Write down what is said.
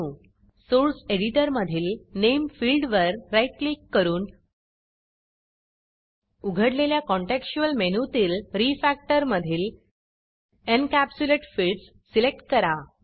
source editor source editor मधील nameनेम फिल्डवर राईट क्लिक करून उघडलेल्या काँटेक्स्च्युअल मेनूतीलRefactorरीफॅक्टर मधील एन्कॅप्सुलेट Fieldsएनकॅप्सुलेट फील्ड्स सिलेक्ट करा